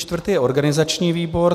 Čtvrtý je organizační výbor.